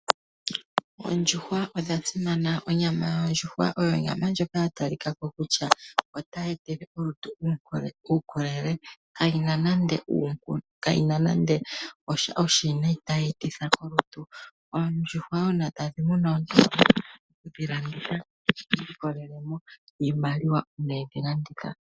Oondjuhwa odha simana. Onyama yondjuhwa oyo onyama ndjoka ya talika ko kutya otayi etele olutu uukolele. Kayi na nande osha oshiwinayi tayi etitha molutu. oondjuhwa uuna omuntu e kedhi landitha, ohi ilikolele mo iimaliwa uuna e dhi landitha.